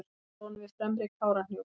hálslón við fremri kárahnjúk